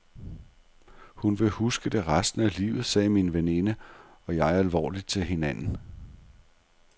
Hun vil huske det resten af livet, sagde min veninde og jeg alvorligt til hinanden.